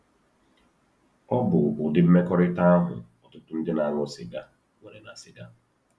Ọ bụ ụdị mmekọrịta ahụ ọtụtụ ndị na-aṅụ sịga nwere na sịga.